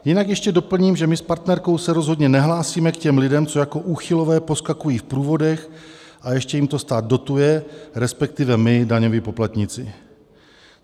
Jinak ještě doplním, že my s partnerkou se rozhodně nehlásíme k těm lidem, co jako úchylové poskakují v průvodech a ještě jim to stát dotuje, respektive my, daňoví poplatníci.